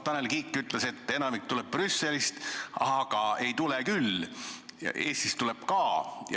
Tanel Kiik ütles, et enamik tuleb Brüsselist, aga ega ei tule küll, Eestist tuleb ka.